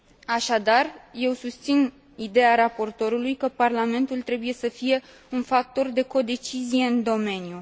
Așadar, eu susțin ideea raportorului că Parlamentul trebuie să fie un factor de codecizie în domeniu.